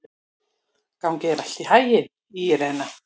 Gangi þér allt í haginn, Írena.